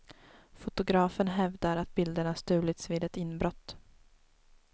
Fotografen hävdar att bilderna stulits vid ett inbrott.